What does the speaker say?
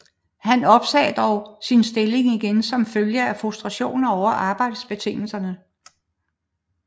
Han opsagde dog sin stilling igen som følge af frustrationer over arbejdsbetingelserne